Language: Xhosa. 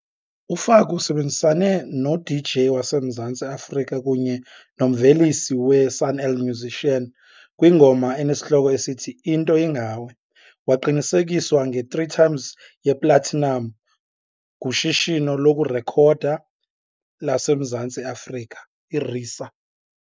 UFaku usebenzisane no-DJ waseMzantsi Afrika kunye nomvelisi we-Sun-El Musician kwingoma enesihloko esithi "Into Ingawe", waqinisekiswa nge-3 times yeplatinam nguShishino lokuRekhoda laseMzantsi Afrika, iRiSA.